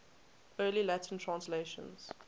early latin translations